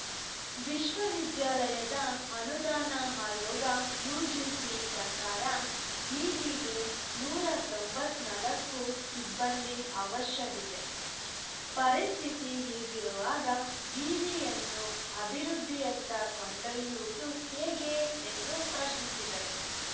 ವಿಶ್ವವಿದ್ಯಾಲಯದ ಅನುದಾನ ಆಯೋಗ ಯುಜಿಸಿ ಪ್ರಕಾರ ವಿವಿಗೆ ನೂರ ತೊಂಬತ್ತ್ ನಾಲ್ಕು ಸಿಬ್ಬಂದಿ ಅವಶ್ಯವಿದೆ ಪರಿಸ್ಥಿತಿ ಹೀಗಿರುವಾಗ ವಿವಿಯನ್ನು ಅಭಿವೃದ್ಧಿಯತ್ತ ಕೊಂಡೊಯ್ಯುವುದು ಹೇಗೆ ಎಂದು ಪ್ರಶ್ನಿಸಿದರು